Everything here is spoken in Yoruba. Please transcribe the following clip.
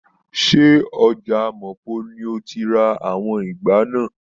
Se ọja Mapo ni o tí ra àwọn ìgbá náà?